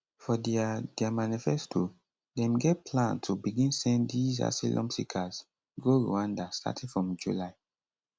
for dia dia manifesto dem get plan to begin send these asylum seekers go rwanda starting from july